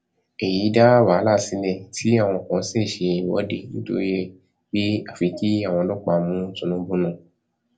èyí dá wàhálà sílẹ tí àwọn kan sì ṣe ìwọde nítorí ẹ pé àfi kí àwọn ọlọpàá mú tìǹbù náà